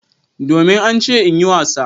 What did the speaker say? Domin an ce in yi wasa.